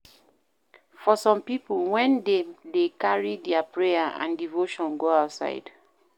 For some pipo, when dem dey carry their prayer and devotion go outside